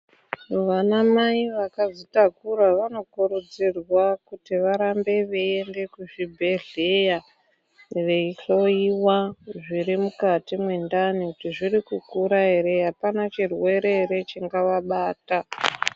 Vana mai vakazvitakura vanokurudzirwa kuti varambe veyiyende kuzvibhedhleya veyihloyiwa zviri mukati mwendani kuti zviri kukura here hapana chirwere here chingava bata.